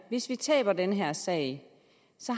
hvis de taber den her sag